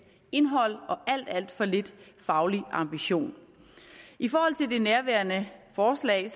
indhold og alt alt for lidt faglig ambition i forhold til det nærværende forslag